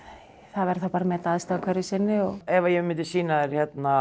það verður bara að meta aðstæður hverju sinni ef að ég myndi sýna þér hérna